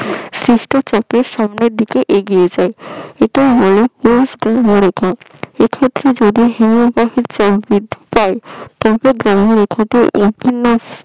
সামনের দিকে আগেইয়ে যাই আইতাকে বলে পশ হিমভহ এই ক্ষেত্রে যদি হিমবাহের জল বৃদ্ধি পায়